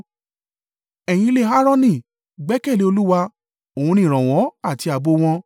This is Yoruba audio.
Ẹ̀ yin ilé Aaroni, gbẹ́kẹ̀lé Olúwa: òun ni ìrànwọ́ àti ààbò wọn.